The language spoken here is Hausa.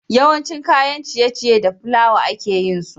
Yawanshi kayan ciye ciye da flawa ake yinsu